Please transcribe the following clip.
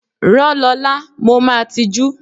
Rán Lọla, mo máa tijú!